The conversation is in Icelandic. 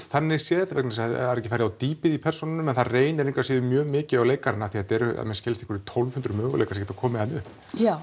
þannig séð vegna þess að það er ekki farið á dýpið í persónunum en það reynir engu að síður mjög mikið á leikarana af því að þetta eru að mér skilst einhverjir tólf hundruð möguleikar sem geta komið þarna upp já